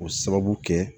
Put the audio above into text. O sababu kɛ